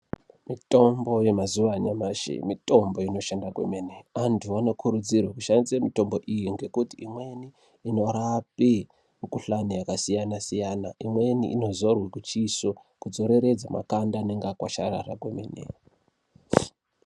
Mitomnbo yemazuwa anyamashi mitombo inoshanda kwemene. Antu anokurudzirwe kushandisa mitombo iyi ngekuti imweni inorape mikhuhlane yakasiyana siyana imweni inodzorwe kuchiso kudzoreredza makanda anenge akwasharara.